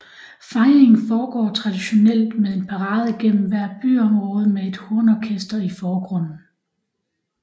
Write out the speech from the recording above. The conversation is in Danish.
Fejringen foregår traditionelt med en parade gennem hvert byområde med et hornorkester i forgrunden